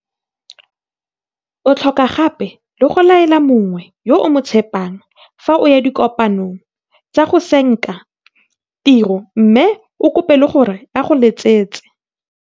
O tlhoka gape le go laela mongwe yo o mo tshepang fa o ya dikopanong tsa go senka tiro mme o mo kope le gore a go letsetse